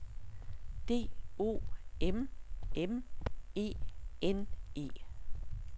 D O M M E N E